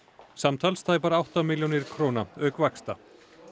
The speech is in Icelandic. samtals tæpar átta milljónir króna auk vaxta